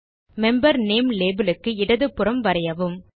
member name label க்கு இடது புறம் வரையவும்